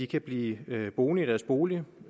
kan blive boende i deres boliger